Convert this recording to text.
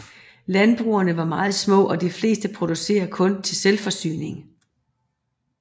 Landbrugene er meget små og de fleste producerer kun til selvforsyning